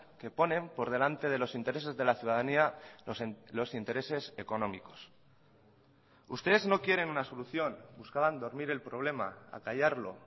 que ponen por delante de los intereses de la ciudadanía los intereses económicos ustedes no quieren una solución buscaban dormir el problema acallarlo